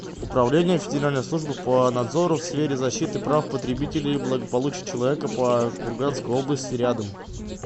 управление федеральной службы по надзору в сфере защиты прав потребителей и благополучия человека по курганской области рядом